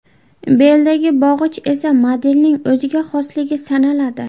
Beldagi bog‘ich esa modelning o‘ziga xosligi sanaladi.